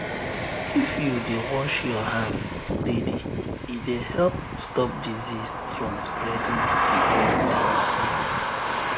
if you dey wash your hands steady e dey help stop disease from spreading between pens